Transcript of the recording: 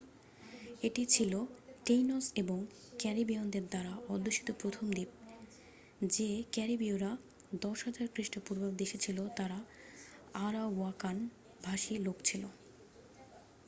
এটি ছিল taínos এবং ক্যারিবীয়নদের দ্বারা অধ্যুষিত প্রথম দ্বীপ। যে ক্যারিবীয়রা 10,000 খ্রিস্টপূর্বাব্দে এসেছিল তারা আরাওয়াকান-ভাষী লোক ছিল।